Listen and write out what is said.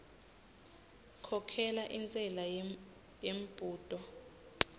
khokhela intshela yembudo